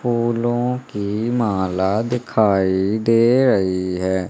फूलों की माला दिखाई दे रही है।